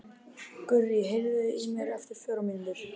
Gurrí, heyrðu í mér eftir fjórar mínútur.